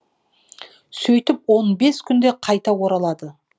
сөйтіп он бес күнде қайта оралады